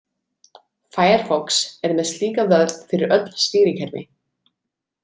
Firefox er með slíka vörn fyrir öll stýrikerfi.